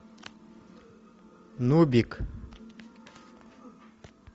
нубик